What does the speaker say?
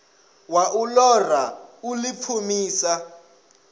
ya u ṱoḓa u ḓipfumisa